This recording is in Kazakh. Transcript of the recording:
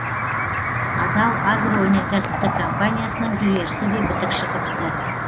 адал агроөнеркәсіптік компаниясының жүгерісі де бітік шығыпты